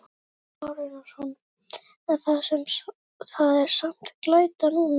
Kristján Már Unnarsson: En það er samt glæta núna?